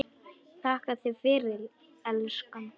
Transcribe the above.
Þakka þér fyrir, elskan.